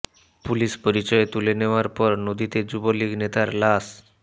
police পরিচয়ে তুলে নেয়ার পর নদীতে যুবলীগ নেতার লাশ